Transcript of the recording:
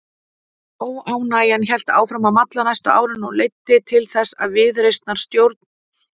Óánægjan hélt áfram að malla næstu árin og leiddi til þess að viðreisnarstjórn